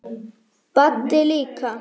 Baddi líka.